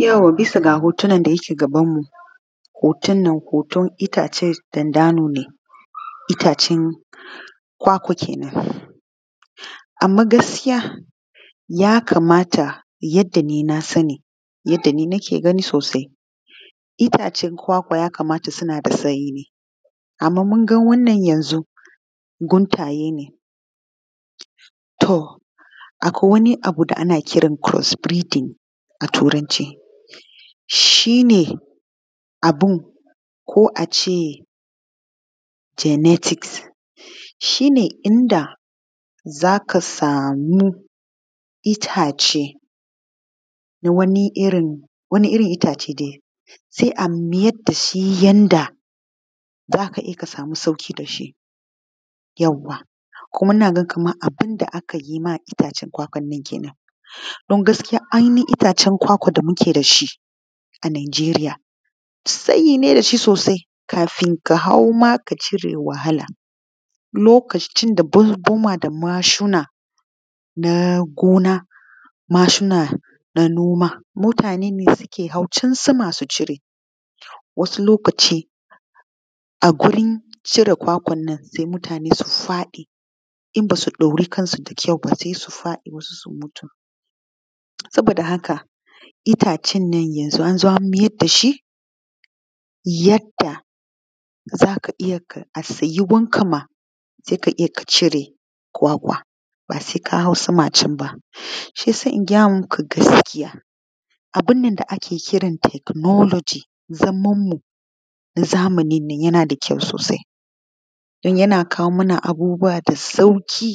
Yauwa bisa ga hoton nan da yake gabanmu. Hoton nan hoton itacen dandanune itacen kwakwa, anma gaskiya ya kamata yadda ni na sani yadda ni nake gani sosai itacen kwakwa ya kamata suna da tsayi, anma mun ga wannan yanzu guntaye ne. To, akwai wani abu da ana kiran shi first breeding a Turanci shi ne abun ko a ce emotes shi ne inda za ka sami itace na wani irin itace se a mayar da shi yanda za ka je ka sami sauƙi da shi. Yauwa kuma ina ga kaman wanda aka yi ma itacen kwakwannan kenan don gaskiya ainihin itacen kwakwa da muke da su a Najeriya tsayi ne da shi sosai kafin ka hau ma ka cire wahala lokacin da bunguma da mashina na gona mashina na noma mutanene suke hau can sama sucire wasu lokaci a wurin cire kwakwannan mutane su faɗi in ba su ɗaure kansu da kyau ba su faɗi wasu su mutu saboda haka itacennan yanzo anzo anmaida shi yadda zaka iya a tsayowanka ma seka iya kacire kwakwa ba sai kahau sama canba shi yasa ingayamuku gaskiya abunnan da ake kiran technology zamanmu na zamaninnan yanada kyau sosai dun yana kawo mana abubuwa da sauƙi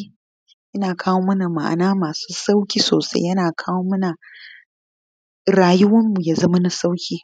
yana kawo mana ma’ana masu sauƙi sosai yana kawomana rayuwanmu yazama na sauƙi.